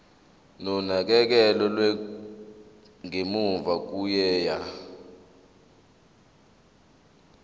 nonakekelo lwangemuva kokuya